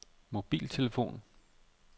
mobiltelefon